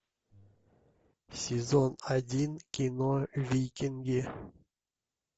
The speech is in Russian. сезон один кино викинги